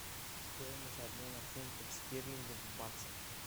стоимость обмена фунтов стерлингов в баксах